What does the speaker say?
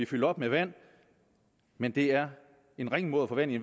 fyldt op med vand men det er en ringe måde at få vand i